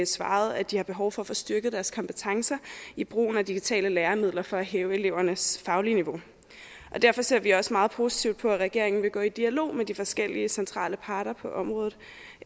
svaret at de har behov for at få styrket deres kompetencer i brugen af digitale læremidler for at hæve elevernes faglige niveau og derfor ser vi også meget positivt på at regeringen vil gå i dialog med de forskellige centrale parter på området